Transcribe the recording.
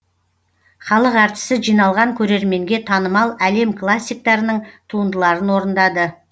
халық әртісі жиналған көрерменге танымал әлем классиктарының туындыларын орындады